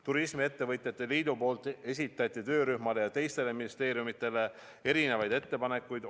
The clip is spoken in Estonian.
Turismiettevõtjate liidu poolt esitati töörühmale ja teistele ministeeriumidele erinevaid ettepanekuid.